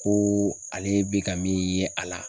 Ko ale be ka min ye a la